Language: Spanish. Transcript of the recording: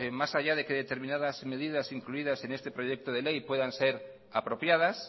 más allá de que determinadas medidas incluidas en este proyecto de ley puedan ser apropiadas